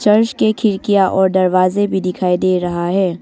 और उसके खिड़कियां और दरवाजे भी दिखाई दे रहा है।